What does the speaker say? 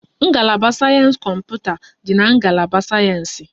Ngalaba sayensị kọmputa dị na ngalaba sayensị